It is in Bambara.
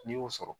N'i y'o sɔrɔ